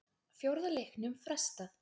Fjórða leiknum frestað